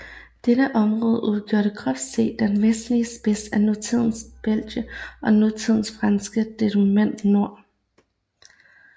Dette område udgjorde groft set den vestlige spids af nutidens Belgien og nutidens franske departement Nord